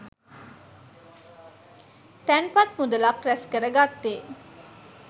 තැන්පත් මුදලක් රැස්කර ගත්තේ